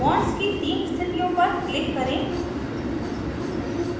bond की तीन स्थितियों पर click करें